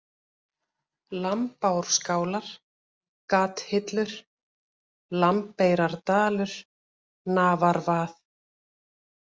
Lambárskálar, Gathillur, Lambeyrardalur, Nafarvað